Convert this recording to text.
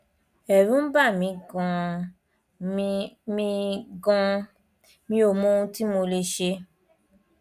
ẹrù ń bà mí ganan mi mí ganan mi ò mọ ohun tí mo lè ṣe